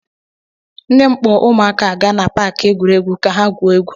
Nne m kpọ ụmụaka aga na paakị egwuregwu ka ha gwuo egwu.